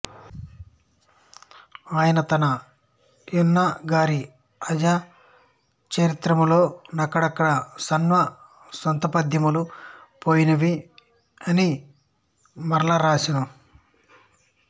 ఆయన తన యన్నగారి అజ చరిత్రములో నక్కడక్కడ నాశ్వాసాంతపద్యములు పోయినవి మరల వ్రాసెను